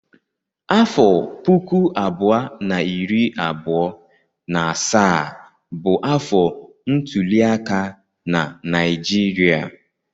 Afọ puku abụọ na iri abụọ na asaa bụ afọ ntuliaka na Naịjirịa.